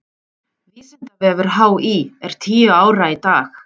Vísindavefur HÍ er tíu ára í dag.